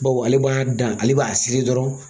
Bawo ale b'a dan, ale b'a seri dɔrɔn